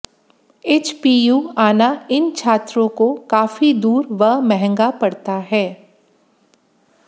HPU आना इन छात्रों को काफी दूर व महंगा पड़ता है